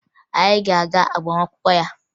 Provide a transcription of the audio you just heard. Anyị ga-aga agbamakwụkwọ ya